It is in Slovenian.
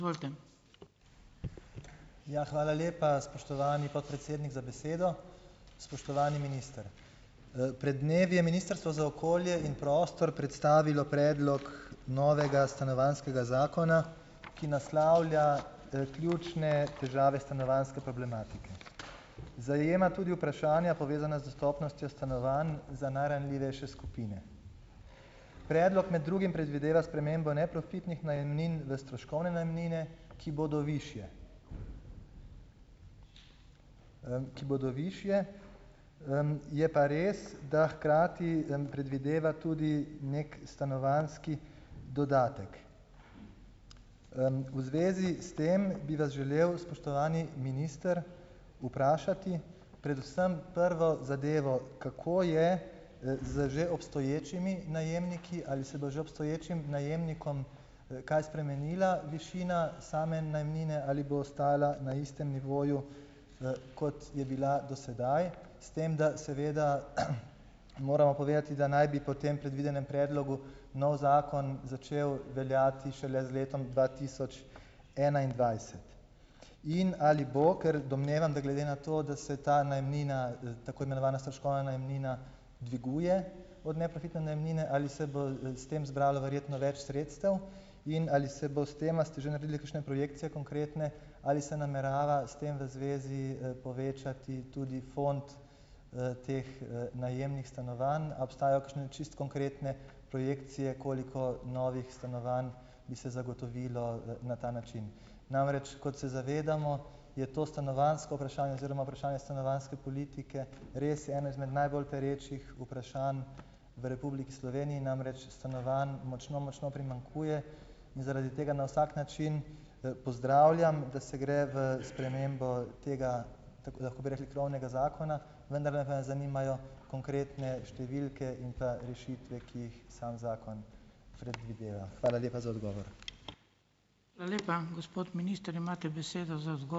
Ja, hvala lepa, spoštovani podpredsednik za besedo. Spoštovani minister. Pred dnevi je Ministrstvo za okolje in prostor predstavilo predlog novega stanovanjskega zakona, ki naslavlja, ključne težave stanovanjske problematike. Zajema tudi vprašanja, povezana z dostopnostjo stanovanj za najranljivejše skupine. Predlog med drugim predvideva spremembo neprofitnih najemnin v stroškovne najemnine, ki bodo višje. ki bodo višje, Je pa res, da hkrati, predvideva tudi neki stanovanjski dodatek. V zvezi s tem, bi vas želel, spoštovani minister, vprašati predvsem prvo zadevo, kako je, z že obstoječimi najemniki, ali se bo že obstoječim najemnikom, kaj spremenila višina same najemnine ali bo ostajala na istem nivoju, kot je bila do sedaj, s tem, da seveda, moramo povedati, da naj bi po tem predvidenem predlogu novi zakon začel veljati šele z letom dva tisoč enaindvajset. In ali bo, ker domnevam, da glede na to, da se je ta najemnina, tako imenovana stroškovna najemnina dviguje od neprofitne najemnine, ali se bo, s tem zbralo verjetno več sredstev in ali se bo s tem, a ste že naredili, kakšne projekcije konkretne? Ali se namerava s tem v zvezi, povečati tudi fond, teh, najemnih stanovanj, a obstajajo kakšne čisto konkretne projekcije, koliko novih stanovanj bi se zagotovilo, na ta način? Namreč, kot se zavedamo, je to stanovanjsko vprašanje oziroma vprašanje stanovanjske politike res eno izmed najbolj perečih vprašanj, v Republiki Sloveniji namreč stanovanj močno močno primanjkuje, in zaradi tega na vsak način, pozdravljam, da se gre v spremembo tega, tako lahko bi rekli krovnega zakona, vendar me pa zanimajo konkretne številke in pa rešitve, ki jih sam zakon predvideva. Hvala lepa za odgovor.